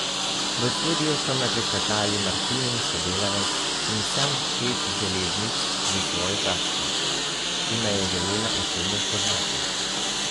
V studiu so me pričakali Martinin sodelavec in sam šef železnic s svojo taščo, ki me je želela osebno spoznati.